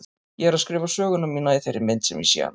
Ég er að skrifa söguna mína í þeirri mynd sem ég sé hana.